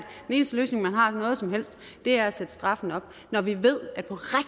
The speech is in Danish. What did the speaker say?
den eneste løsning man har på noget som helst er at sætte straffene op når vi ved at